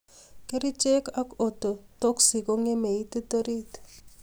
Kerichek ak ototoxic kongemee ititt orit